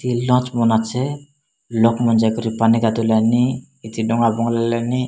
Launch ବାନେସେ ଲୋକ ମାନେ ଯାଇ ପାନୀ କଡୀ ଲେନି ଇଠି ଡ଼ଙ୍ଗା ପହଁରିଲେନି।